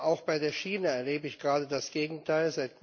Auch bei der Schiene erlebe ich gerade das Gegenteil.